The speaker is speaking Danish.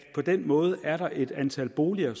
på den måde er et antal boliger